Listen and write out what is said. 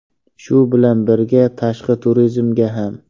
Shu bilan birga, tashqi turizmga ham.